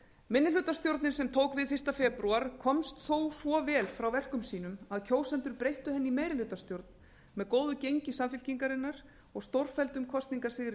minnihlutastjórnin sem tók við fyrsta febrúar komst þó svo vel frá verkum sínum að kjósendur breyttu henni í meirihlutastjórn með góðu gengi samfylkingarinnar og stórfelldum kosningasigri